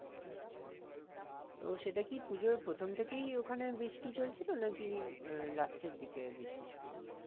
আচ্ছা তো সেটা কি পুজোর প্রথম থেকেই ওখানে বৃষ্টি চলছিল নাকি আহ last এর দিকে বৃষ্টি শুরু হয়েছে?